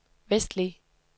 vestlige